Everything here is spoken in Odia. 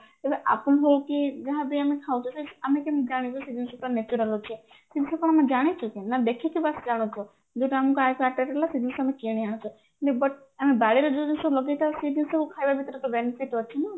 ହେଲେ ଯାହା ବି ଆମେ ଖାଉଛେ ଆମେ କେମିତି ଜାଣିବା ସେଇ ଜିନିଷଟା natural ରହୁଛି ଦେଖିକି ବାସ ଜାଣୁଛେ ଯୋଉଟା ଆମକୁ attractive ଲାଗିଲା ସେଇ ଜିନିଷ ଟା ଆମେ କିଣି ଆଣୁଚେ but ଆମେ ବାଳରେ ଯୋଉ ଜିନିଷ ଲଗେଇଥାଉ ସେଇ ଜିନିଷ ଖାଇବା ଭିତରେ କେବେ ଆଣିକି